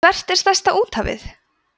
hvert er stærsta úthafið